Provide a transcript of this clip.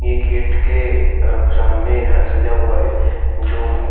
ये गेट के अ सामने ह सजा हुआ है जो बु --